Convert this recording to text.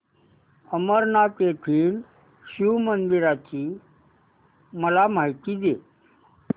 अंबरनाथ येथील शिवमंदिराची मला माहिती दे